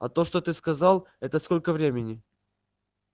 а то что ты сказал это сколько времени